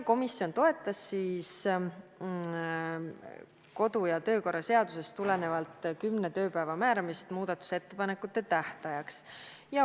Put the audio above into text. Komisjon toetas kodu- ja töökorra seadusest tulenevalt kümne tööpäeva määramist muudatusettepanekute esitamise tähtajaks.